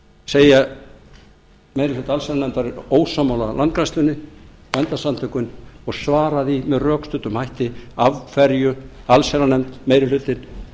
segja meiri hluta allsherjarnefndar ósammála landgræðslunni bændasamtökunum og svara því með rökstuddum hætti af hverju allsherjarnefnd meiri hlutinn